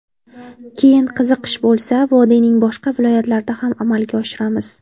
Keyin qiziqish bo‘lsa, vodiyning boshqa viloyatlarida ham amalga oshiramiz.